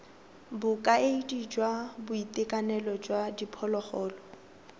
bokaedi jwa boitekanelo jwa diphologolo